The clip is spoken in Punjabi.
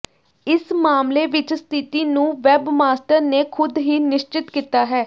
ਇਸ ਮਾਮਲੇ ਵਿੱਚ ਸਥਿਤੀ ਨੂੰ ਵੈਬਮਾਸਟਰ ਨੇ ਖੁਦ ਹੀ ਨਿਸ਼ਚਿਤ ਕੀਤਾ ਹੈ